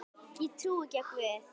Ég trúi ekki á Guð.